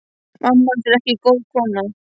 Mamma hans er ekki góð kona.